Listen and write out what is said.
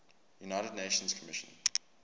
united nations commission